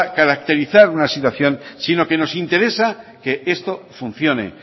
caracterizar una situación si no que nos interesa que esto funcione